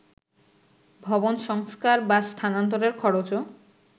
ভবন সংস্কার বা স্থানান্তরের খরচও